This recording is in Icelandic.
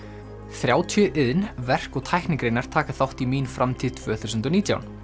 þrjátíu iðn verk og tæknigreinar taka þátt í mín framtíð tvö þúsund og nítján